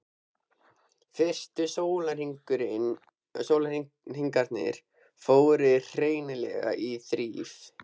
Fyrstu sólarhringarnir fóru hreinlega í þrif.